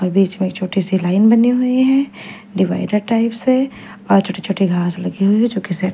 और बीच में छोटी सी लाइन बनी हुई है डिवाइडर टाइप्स है और छोटे छोटे घास लगे हुए है जो की सेे--